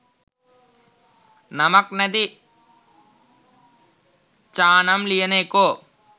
නමක් නැති චානම් ලියන එකෝ.